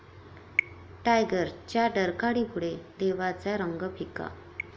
टायगर'च्या डरकाळीपुढे 'देवा'चा रंग फिका!